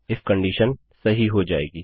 if conditionशर्त true सही हो जाएगी